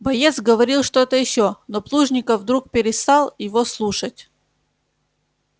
боец говорил что-то ещё но плужников вдруг перестал его слушать